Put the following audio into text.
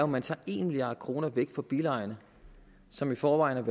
man tager en milliard kroner fra bilejerne som i forvejen